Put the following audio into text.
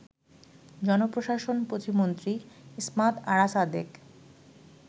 জনপ্রশাসন প্রতিমন্ত্রী ইসমাত আরা সাদেক